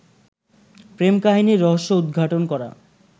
প্রেম কাহিনীর রহস্য উদ্ঘাটন করা